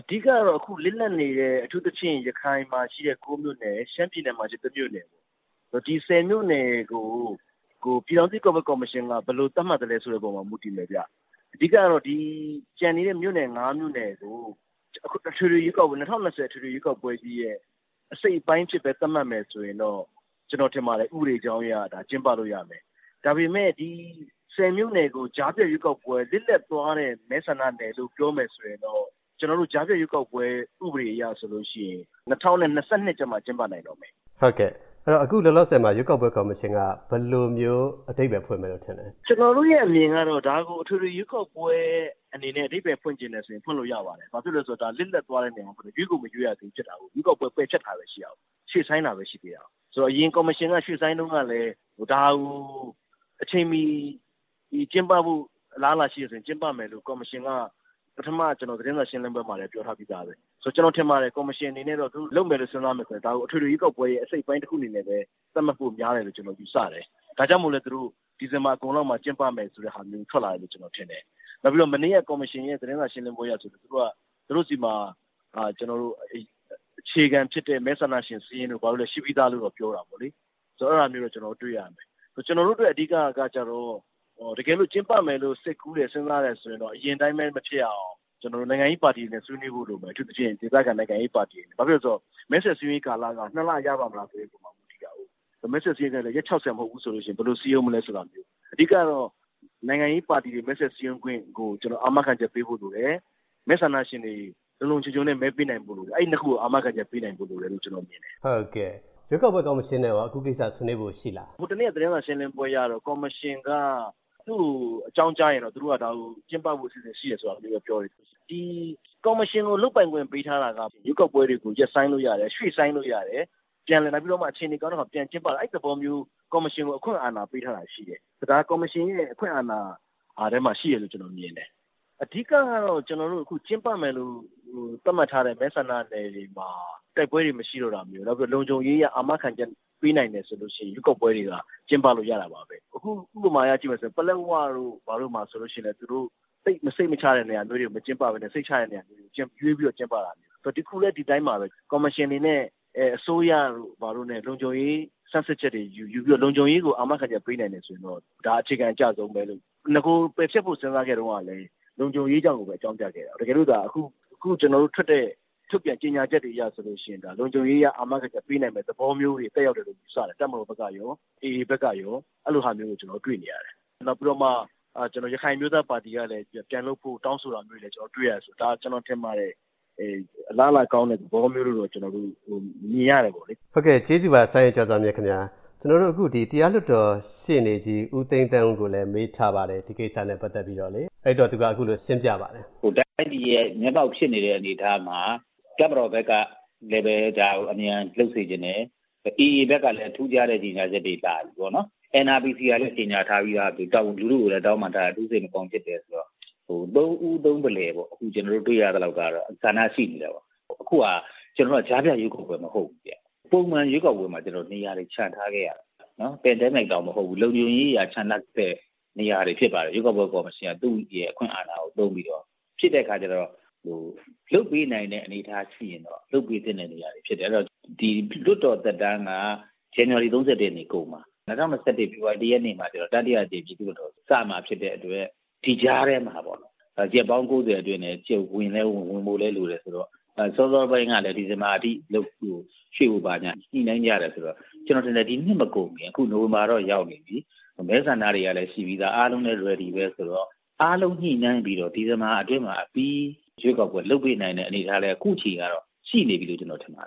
အဓိကကတော့ အခု လစ်လပ်နေတဲ့ အထူးသဖြင့် ရခိုင်မှာရှိတဲ့ ၉ မြို့နယ်ရယ်၊ ရှမ်းပြည်နယ်မှာ ရှိတဲ့ ၁ မြို့နယ်၊ ဒီ ၁၀ မြို့နယ်ကို ပြည်ထောင်စုရွေးကောက်ပွဲကော်မရှင်က ဘယ်လိုသတ်မှတ်သလဲ ဆိုတဲ့အပေါ်မှာ မူတည်တယ်ဗျ။ အဓိကကတော့ ကျန်နေတဲ့ မြို့နယ် ၅ မြို့နယ်ကို ၂၀၂၀ အထွေထွေရွေးကောက်ပွဲကြီးရဲ့ အစိတ်အပိုင်းအဖြစ်ပဲ သတ်မှတ်မယ်ဆိုရင်တော့ ကျနော်ထင်ပါတယ် ဥပဒေကြောင်းအရ ကျင်းပလို့ရမယ်။ ဒါပေမဲ့ ဒီ ၁၀ မြို့နယ်ကို ကြားဖြတ် ရွေးကောက်ပွဲ၊ လစ်လပ်သွားတဲ့ မဲဆန္ဒနယ်လို့ပြောမယ်ဆိုရင်တော့ ကျနော်တို့ ကြားဖြတ်ရွေးကောက်ပွဲ ဥပဒေအရဆိုလို့ရှိရင် ၂၀၂၂ ကျမှ ကျင်းပနိုင်တော့မယ်။ ဟုတ်ကဲ့၊ အခုလောလောဆယ်မှာ ရွေးကောက်ပွဲကော်မရှင်က ဘယ်လို အဓိပ္ပါယ်ဖွင့်မယ်လို့ ထင်လဲ။ ကျနော်တို့ရဲ့အမြင်ကတော့ ဒါကို အထွေထွေ ရွေးကောက်ပွဲအနေနဲ့ အဓိပ္ပါယ် ဖွင့်ချင်ရင် ဖွင့်လို့ရပါတယ်။ ဘာဖြစ်လို့လည်းဆိုတော့ လစ်လပ်သွားတဲ့နေရာမို့လို့ ရွေးကိုမရွေးရသေးဘူး ဖြစ်တာကိုး။ ရွေးကောက်ပွဲ ပယ်ဖျက်ထားတာလည်း ရှိတာကိုး၊ ရွှေ့ဆိုင်းတာလည်းရှိသေးတာကိုး။ ဆိုတော့ အရင် ကော်မရှင်က ရွှေ့ဆိုင်းတုန်းကလည်း ဒါကို အချိန်မီ ကျင်းပဖို့ အလားအလာရှိတယ်ဆိုရင် ကျင်းပမယ်လို့ ကော်မရှင်က ပထမ သတင်းစာရှင်းလင်းပွဲမှာလည်း ပြောထားပြီးသားပဲ။ ဆိုတော့ ကျနော် ထင်ပါတယ် ကော်မရှင်အနေနဲ့ လုပ်မယ်လို့ စဉ်းစားမယ်ဆိုရင် ဒါကို အထွေထွေ ရွေးကောက်ပွဲရဲ့ အစိတ်အပိုင်း တခုအနေနဲ့ပဲ သတ်မှတ်ဖို့ များတယ်လို့ ကျနော် ယူဆတယ်။ ဒါကြောင့်မို့လည်း သူတို့ ဒီဇင်ဘာအကုန်လောက်မှာ ကျင်းပမယ်ဆိုတဲ့ဟာမျိုး ထွက်လာတယ်လို့ ကျနော်ထင်တယ်။ နောက်ပြီးတော့ မနေ့က ကော်မရှင်ရဲ့ သတင်းစာရှင်းလင်းပွဲအရဆို သူတို့ဆီမှာ ကျနော်တို့ အခြေခံဖြစ်တဲ့ မဲဆန္ဒရှင် စာရင်းတို့၊ ဘာတို့လည်း ရှိပြီးသားလို့လည်း ပြောတာပေါ့လေ။ ဆိုတော့ အဲဒါမျိုးတော့ ကျနော်တို့ တွေ့ရမယ်။ ကျနော်တို့အတွက် အဓိကကကျတော့ တကယ်လို့ ကျင်းပမယ်လို့၊ စိတ်ကူးတယ်၊ စဉ်းစားတယ်ဆိုရင်တော့ အရင်အတိုင်းပဲ မဖြစ်အောင် နိုင်ငံရေးပါတီတွေနဲ့ ဆွေးနွေးဖို့ လိုမယ်... အထူးသဖြင့် ဒေသခံနိုင်ငံရေးပါတီတွေ။ ဘာဖြစ်လို့လဲဆိုတော့ မဲဆွယ် စည်းရုံးရေးကာလက နှစ်လ ရပါ့မလားဆိုတဲ့အပေါ်မှာ မူတည်တာကိုး။ မဲဆွယ်စည်းရုံးရေးကလည်း ရက် ၆၀ မဟုတ်ဘူးဆိုရင် ဘယ်လို စည်းရုံးမလဲဆိုတာမျိုး။ အဓိကကတော့ နိုင်ငံရေးပါတီတွေ မဲဆွယ်စည်းရုံးခွင့်ကို အာမခံချက်ပေးဖို့လိုတယ်။ မဲဆန္ဒရှင်တွေ လုံလုံခြုံခြုံနဲ့ မဲပေးနိုင်ဖို့ လိုတယ်။ အဲဒီ နှစ်ခုကို အာမခံချက်ပေးနိုင်ဖို့လိုတယ်လို့ ကျနော်မြင်တယ်။ ရွေးကောက်ပွဲ ကော်မရှင်နဲ့ရော အခု ကိစ္စဆွေးနွေးဖို့ ရှိလား။ ဟိုတနေ့က သတင်းစာ ရှင်းလင်းပွဲအရတော့ ကော်မရှင်က သူ့ကို အကြောင်းကြားရင်တော့ သူတို့က ဒါကို ကျင်းပဖို့ အစီအစဉ်ရှိတယ်ဆိုတာလေးပဲ ပြောတယ်။ ဒီကော်မရှင်ကို လုပ်ပိုင်ခွင့်ပေးထားတာက ရွေးကောက်ပွဲတွေကို ရပ်ဆိုင်းလို့ရတယ်၊ ရွှေ့ဆိုင်းလို့ရတယ်၊ ပြန်လည်ပြီးတော့မှ အခြေအနေကောင်းတဲ့အခါ ပြန်ကျင်းပတာ၊ အဲဒီ သဘောမျိုး ကော်မရှင်ကို အခွင့်အာဏာပေးထားတာရှိတယ်။ ဒါ ကော်မရှင်ရဲ့ အခွင့်အာဏာထဲမှာ ရှိတယ်လို့ ကျနော်မြင်တယ်။ အဓိကကတော့ ကျင်းပမယ်လို့ သတ်မှတ်ထားတဲ့ မဲဆန္ဒနယ်တွေမှာ တိုက်ပွဲတွေ မရှိတော့တာမျိုး၊ နောက်တခုက လုံခြုံရေးအရ အာမခံချက်ပေးနိုင်တယ်ဆိုလို့ရှိရင် ရွေးကောက်ပွဲတွေက ကျင်းပလို့ရတာပါပဲ။ အခုဥပမာအရ ကြည့်မယ်ဆိုရင် ပလက်ဝတို့၊ ဘာတို့မှာ ဆိုလို့ရှိရင်လည်း သိပ်စိတ်မချရတဲ့ နေရာမျိုးတွေမှာ မကျင်းပဘဲနဲ့ စိတ်ချရတဲ့ နေရာတွေမှာ ရွေးပြီးတော့ ကျင်းပတာမျိုး အခုလည်း ဒီအတိုင်းပါပဲ။ ကော်မရှင်အနေနဲ့ အစိုးရတို့၊ ဘာတို့နဲ့ လုံခြုံရေး ဆန်းစစ်ချက်တွေယူ၊ လုံခြုံရေးကို အာမခံချက်ပေးနိုင်တယ်ဆိုရင်တော့ ဒါ အခြေခံအကျဆုံးပဲ။ နဂို ပယ်ဖျက်ဖို့ စဉ်းစားခဲ့တုန်းကလည်း လုံခြုံးရေးကြောင့်လို့ပဲ အကြောင်းပြခဲ့တာ။ တကယ်လို့သာ အခုထုတ်တဲ့ ကြေငြာချက်အရတွေ ဆိုလို့ရှိရင် ဒါ လုံခြုံရေးအရ အာမခံချက် ပေးနိုင်မယ့် သဘောမျိုးတွေ သက်ရောက်တယ်လို့ ယူဆတယ်။ တပ်မတော်ဘက်ကရော၊ AA ဘက်ကရော အဲဒီလိုဟာမျိုးတွေ ကျနော်တို့ တွေ့နေရတယ်။ နောက်ပြီးတော့မှ ရခိုင်အမျိုးသားပါတီကလည်း ပြန်လုပ်ဖို့ တောင်းဆိုတာမျိုးတွေလည်း ကျနော်တို့ တွေ့ရတယ်။ ဒါ ကျနော်ထင်ပါတယ်။ အလားအလာကောင်းတဲ့ သဘောမျိုးလို့တော့ ကျနော်တို့ မြင်ရတယ်ပေါ့လေ။ ဟုတ်ကဲ့၊ ကျေးဇူးပါ စိုင်းရဲကျော်စွာမြင့်ခင်ဗျာ။ တရားလွှတ်တော် ရှေ့နေကြီး ဦးသိန်းသန်းဦးကိုလည်း မေးထားပါတယ်။ ဒီကိစ္စနဲ့ ပတ်သက်ပြီးတော့ သူက အခုလို ရှင်းပြပါတယ်။ တိုင်းပြည်ရဲ့ မျက်မှောက်ဖြစ်နေတဲ့ အနေအထားမှာ တပ်မတော်ဘက်က ဒါကို အမြန် လုပ်စေချင်တယ်။ AA ဘက်ကလည်း ထူးခြားတဲ့ ကြေငြာချက်တွေ လာပြီပေါ့နော်။ NRPC ကလည်း ကြေငြာထားပြီးသား။ လူထုကိုလည်း တောင်းပန်ထားတယ်။ အထူး စိတ်မကောင်းဖြစ်တယ်ဆိုတာ။ သုံးဦး သုံးဖလှယ်ပေါ့။ ခု ကျနော်တို့ တွေ့ရသလောက်တော့ ဆန္ဒရှိနေတာပေါ့။ အခုက ကျနော်တို့က ကြားဖြတ်ရွေးကောက်ပွဲ မဟုတ်ဘူးဗျ။ ပုံမှန် ရွေးကောက်ပွဲမှာ နေရာတွေ ချန်ထားခဲ့ရတာ။ pandemic ကြောင့်မဟုတ်ဘူး။ လုံခြုံရေးကြောင့် ချန်ထားတဲ့ နေရာတွေ ဖြစ်ပါတယ်။ ရွေးကောက်ပွဲကော်မရှင်က သူ့ရဲ့ အခွင့်အာဏာကို သုံးပြီးတော့ လုပ်ပေးနိုင်တဲ့ အနေအထားရှိရင်တော့ လုပ်ပေးသင့်တဲ့ နေရာတွေ ဖြစ်တယ်။ အဲဒီတော့ လွှတ်တော်သက်တမ်းက ဇန်နဝါရီ ၃၁ ကုန်မှာ။ ၂၀၂၁ ဖေဖော်ဝါရီ ၁ ရက်နေ့မှာကျတော့ တတိယအကြိမ် ပြည်သူ့လွှတ်တော် စမှာဖြစ်တဲ့အတွက် ဒီကြားထဲမှာပေါ့နော် ရက်ပေါင်း ၉၀ အတွင်းနဲ့ ဝင်ဖို့လည်းလိုတယ်ဆိုတော့ စောစောပိုင်းတုန်းကလည်း ဒီဇင်ဘာအထိ ရွှေ့ဖို့အထိ ညှိနှိုင်းရတယ်ဆိုတော့ ကျနော်ထင်ထယ်.. ခု နိုဝင်ဘာတော့ရောက်နေပြီ။ မဲဆန္ဒတွေလည်း ရှိပြီးသား အားလုံးလည်း ready ပဲဆိုတော့ အားလုံး ညှိနှိုင်းပြီးတော့ ဒီဇင်ဘာအတွင်းမှာ အပြီး ရွေးကောက်ပွဲ လုပ်ပေးနိုင်တဲ့ အနေအထားလည်း ခုချိန်ကတော့ ရှိနေပြီလို့ ကျနော်ထင်ပါတယ